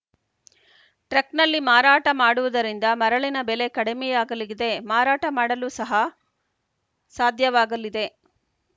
ಟ್ರಕ್‌ನಲ್ಲಿ ಮಾರಾಟ ಮಾಡುವುದರಿಂದ ಮರಳಿನ ಬೆಲೆ ಕಡಿಮೆಯಾಗಲಿಗಿದೆ ಮಾರಾಟ ಮಾಡಲು ಸಹ ಸಾಧ್ಯವಾಗಲಿದೆ